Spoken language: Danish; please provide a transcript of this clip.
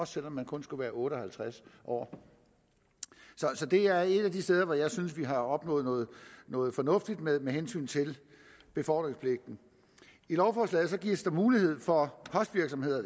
selv om man kun skulle være otte og halvtreds år så det er et af de steder hvor jeg synes vi har opnået noget noget fornuftigt med med hensyn til befordringspligten i lovforslaget gives der mulighed for